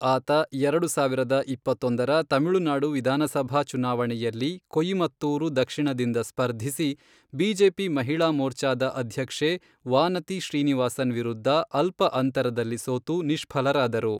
ಆತ, ಎರಡು ಸಾವಿರದ ಇಪ್ಪತ್ತೊಂದರ ತಮಿಳುನಾಡು ವಿಧಾನಸಭಾ ಚುನಾವಣೆಯಲ್ಲಿ ಕೊಯಿಮತ್ತೂರು ದಕ್ಷಿಣದಿಂದ ಸ್ಪರ್ಧಿಸಿ, ಬಿಜೆಪಿ ಮಹಿಳಾ ಮೋರ್ಚಾದ ಅಧ್ಯಕ್ಷೆ ವಾನತಿ ಶ್ರೀನಿವಾಸನ್ ವಿರುದ್ಧ ಅಲ್ಪ ಅಂತರದಲ್ಲಿ ಸೋತು ನಿಷ್ಫಲರಾದರು.